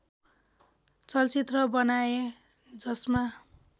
चलचित्र बनाए जसमा